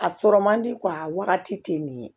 A sɔrɔ man di a wagati tɛ nin ye